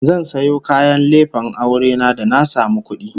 Zan sayo kayan lefen aure na da na samu kudi